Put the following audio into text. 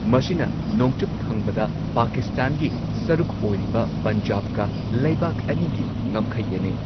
ꯃꯁꯤꯅ ꯅꯣꯡꯆꯨꯞ ꯊꯪꯕꯗ ꯄꯥꯀꯤꯁꯇꯥꯟꯒꯤ ꯁꯔꯨꯛ ꯑꯣꯏꯔꯤꯕ ꯄꯟꯖꯥꯕꯀ ꯂꯩꯕꯥꯛ ꯑꯅꯤꯒꯤ ꯉꯝꯈꯩ ꯌꯦꯟꯅꯩ꯫